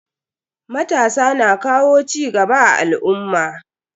Matasa na kawo cigaba a al'umma.